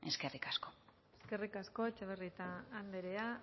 eskerrik asko eskerrik asko etxebarrieta andrea